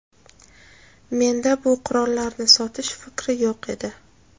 menda bu qurollarni sotish fikri yo‘q edi.